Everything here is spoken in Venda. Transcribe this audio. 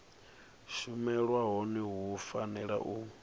shumelwa hone hu fanela u